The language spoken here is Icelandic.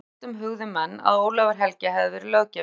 Á fyrri öldum hugðu menn að Ólafur helgi hefði verið löggjafi